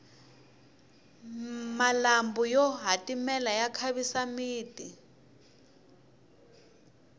malambhu yo hatimela ya khavisa miti